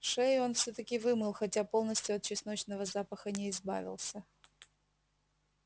шею он всё таки вымыл хотя полностью от чесночного запаха не избавился